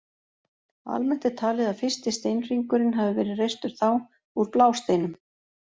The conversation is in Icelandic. Almennt er talið að fyrsti steinhringurinn hafi verið reistur þá, úr blásteinum.